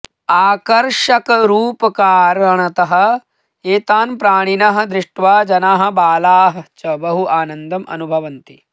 आकर्षकरूपकारणतः ऐतान् प्राणिनः दृष्ट्वा जनाः बालाः च बहु आनन्दम् अनुभवन्ति